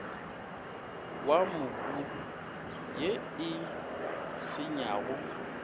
wa mobu ye e senyago